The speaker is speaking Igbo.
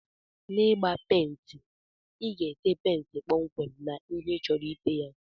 N'igba penti iga ete penti kpọmkwem na ihe ichọrọ ite ya.